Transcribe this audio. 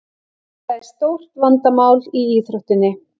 Þetta er stórt vandamál í íþróttinni.